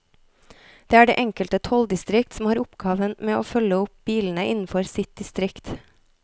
Det er det enkelte tolldistrikt som har oppgaven med å følge opp bilene innenfor sitt distrikt.